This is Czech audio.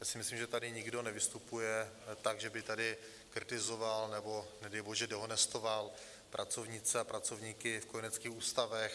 Já si myslím, že tady nikdo nevystupuje tak, že by tady kritizoval nebo nedej bože dehonestoval pracovnice a pracovníky v kojeneckých ústavech.